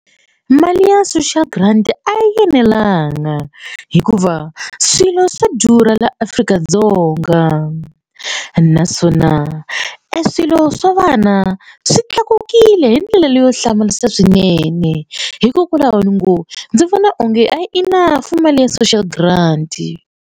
Mali ya social grant a yi enelanga hikuva swilo swa durha la Afrika-Dzonga naswona e swilo swa vana swi tlakukile hi ndlela leyo hlamarisa swinene hikokwalaho ni ngo ndzi vona onge a yi enough mali ya social grant.